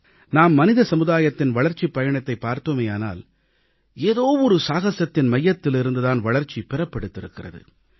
நாம் மனித சமுதாயத்தின் வளர்ச்சிப் பயணத்தைப் பார்த்தோமேயானால் ஏதோ ஒரு சாகசத்தின் மையத்திலிருந்து தான் வளர்ச்சி பிறப்பெடுத்திருக்கிறது